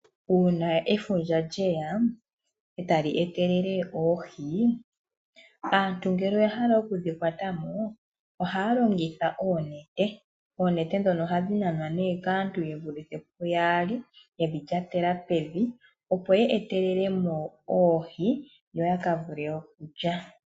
Uuna efundja lye ya e tali etelele oohi, aantu ngele oya hala oku dhi kwata mo ohaya longitha oonete. Oonete ndhono ohadhi nanwa nee kaantu ye vulithe puyaali ye dhi lyatela pevi, opo ye etelele mo oohi, yo ya ka vule okulya.